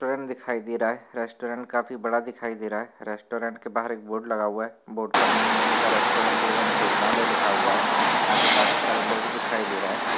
दिखाई दे रहा है रेस्टोरेंट काफी बड़ा दिखाई दे रहा है रेस्टोरेंट के बाहर एक बोर्ड लगा हुआ है बोर्ड पर न्यू मोनिका रेस्टोरेंट एवं भोजनालय लिखा हुआ है यहा पे काफी सारे लोग दिखाई दे रहे है।